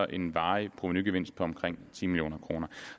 den varige provenugevinst på omkring ti million kroner